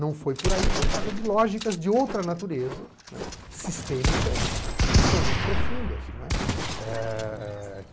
Não foi por aí por causa de lógicas de outra natureza, sistêmicas, que são muito profundas.